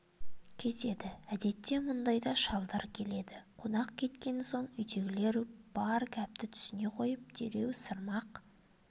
кетеді әдетте мұндайда шалдар келеді қонақ кеткен соң үйдегілер бар гәпті түсіне қойып дереу сырмақ